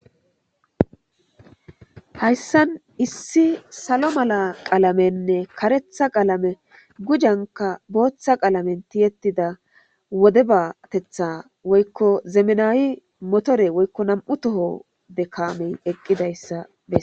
hayssan issi salo mala qalamenne karetha qalame gujanka booththa qalamen tiyettida wode baatetha woykko zemenaawi motore woykko nam7u toho de kaamey eqqidayssa bes